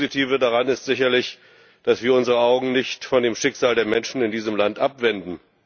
Das Positive daran ist sicherlich, dass wir unsere Augen nicht von dem Schicksal der Menschen in diesem Land abwenden.